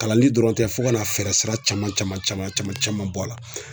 Kalanni dɔrɔn tɛ fo ka na fɛɛrɛ sira caman caman caman caman bɔ a la.